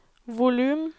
volum